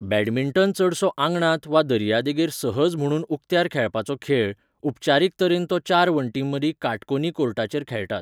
Badminton चडसो आंगणांत वा दर्यादेगेर सहज म्हुणून उक्त्यार खेळपाचो खेळ, उपचारीक तरेन तो चार वण्टींमदीं काटकोनी कोर्टाचेर खेळटात.